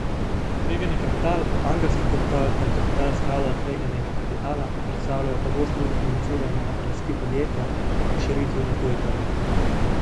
Tvegani kapital, angelski kapital ter kapital skladov tveganega kapitala predstavljajo pogost vir financiranja rasti podjetja ob širitvi na tuje trge.